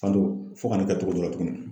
Fando fɔ ka ne kɛ cogo dɔ la tuguni.